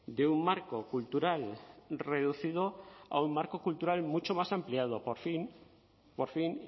de un marco cultural reducido a un marco cultural mucho más ampliado por fin por fin